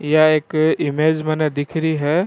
यह एक इमेज मैंने दिख री है।